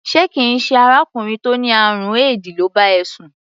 Ṣé kì í ṣe arákùnrin tó ní àrùn éèdì ló bá ẹ sùn?